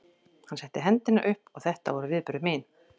Hann setti hendina upp og þetta voru viðbrögð mín.